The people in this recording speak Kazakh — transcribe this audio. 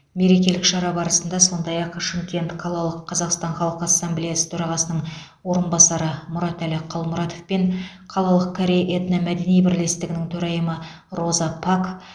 мерекелік шара барысында сондай ақ шымкент қалалық қазақстан халқы ассамблеясы төрағасының орынбасары мұратәлі қалмұратов пен қалалық корей этно мәдени бірлестігінің төрайымы роза пак